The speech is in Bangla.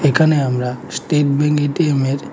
এখানে আমরা স্টেট ব্যাংক এটিএমের--